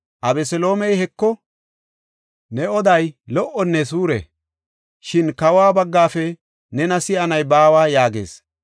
Abeseloomey, “Heko, ne oday lo77onne suure; shin kawa baggafe nena si7anay baawa” yaagees.